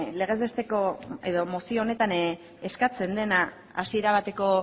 mozio honetan eskatzen dena hasiera bateko